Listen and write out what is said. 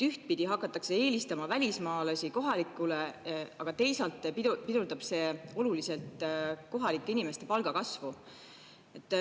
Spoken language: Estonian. Ühtpidi hakatakse eelistama välismaalasi kohalikele, aga teisalt pidurdab see oluliselt kohalike inimeste palga kasvu.